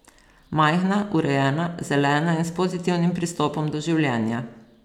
Majhna, urejena, zelena in s pozitivnim pristopom do življenja.